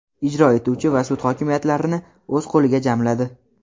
ijro etuvchi va sud hokimiyatlarini o‘z qo‘liga jamladi.